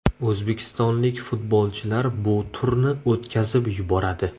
O‘zbekistonlik futbolchilar bu turni o‘tkazib yuboradi.